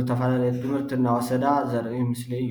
ዝተፈላለየ ትምህርቲ እናወሰዳ ዘርኢ ምስሊ እዩ፡፡